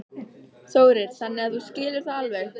Þórir: Þannig að þú skilur það alveg?